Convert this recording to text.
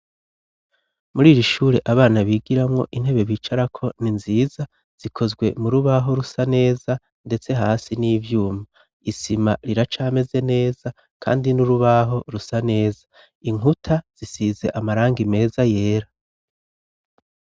Muri iri shure abana bigiramwo intebe bicara ko ni nziza zikozwe mu rubaho rusa neza ndetse hasi n'ivyuma isima riracameze neza kandi n'urubaho rusa neza inkuta zisize amarangi meza yera.